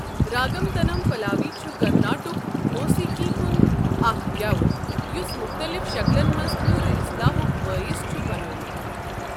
راگم تنم پلاوی چھُ کرناٹک موسیقی ہُنٛد اکھ گٮ۪وُن یُس مُختٔلِف شکلَن منٛز پوٗرٕ اصلاحُک بٲعث چھُ بنٛیوٚومُت۔